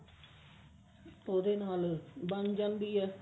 ਉਹਦੇ ਨਾਲ ਬਣ ਜਾਂਦੀ ਹੈ